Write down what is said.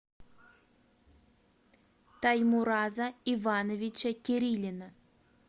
таймураза ивановича кирилина